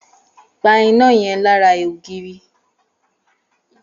Pa iná yẹn lára ògiri!